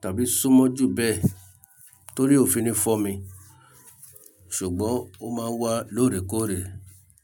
tàbí súnmọ́ jù bẹ́ẹ̀ torí ò fi ni fọ́mi, ṣùgbọ́n ó máa wà lóòrèkóòrè.